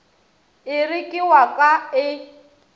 ere ke wa ka e